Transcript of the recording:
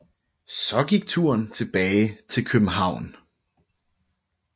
Så gik turen tilbage til København